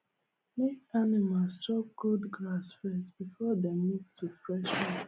make animals chop old grass first before dem move to fresh one